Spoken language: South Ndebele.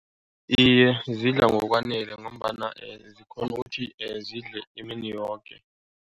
Iye, zidla ngokwanele ngombana zikghona ukuthi zidle imini yoke.